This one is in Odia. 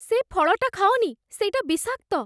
ସେ ଫଳଟା ଖାଅନି । ସେଇଟା ବିଷାକ୍ତ ।